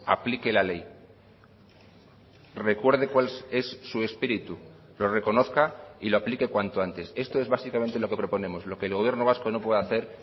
aplique la ley recuerde cuál es su espíritu lo reconozca y lo aplique cuanto antes esto es básicamente lo que proponemos lo que el gobierno vasco no puede hacer